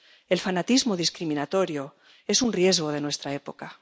El fanatismo discriminatorio es un riesgo de nuestra época.